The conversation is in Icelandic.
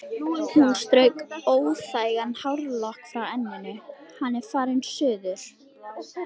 Hún strauk óþægan hárlokk frá enninu: Hann er farinn suður